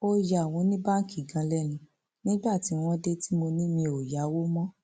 ó ya àwọn oníbáǹkì gan lẹnu nígbà tí wọn dé tí mo ní mi ò yáwó mọ